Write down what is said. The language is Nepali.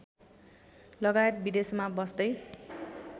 लगायत विदेशमा बस्दै